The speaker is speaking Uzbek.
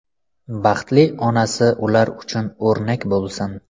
Baxtli onasi ular uchun o‘rnak bo‘lsin.